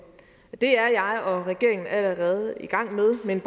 det er jeg og regeringen allerede i gang med men